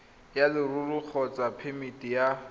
ya leruri kgotsa phemiti ya